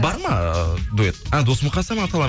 бар ма дуэт а дос мұқасан